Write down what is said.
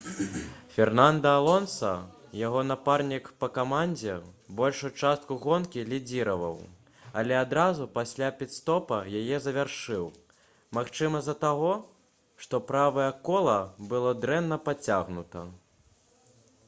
фернанда алонса яго напарнік па камандзе большую частку гонкі лідзіраваў але адразу пасля піт-стопа яе завяршыў магчыма з-за таго што правае кола было дрэнна падцягнута